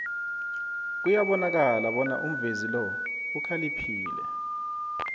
kuyabonakala bona umvezi lo ukhaliphile